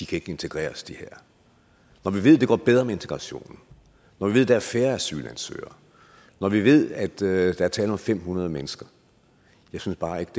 kan integreres når vi ved at det går bedre med integrationen når vi ved at der er færre asylansøgere når vi ved at der er tale om fem hundrede mennesker jeg synes bare ikke